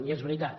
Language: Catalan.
i és veritat